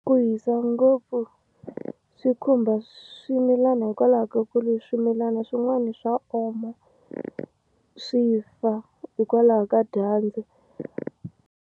Ku hisa ngopfu swi khumba swimilana hikwalaho ka ku ri swimilana swin'wani swa oma swi fa hikwalaho ka dyandza.